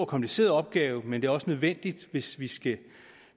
kompliceret opgave men det er også nødvendigt hvis vi skal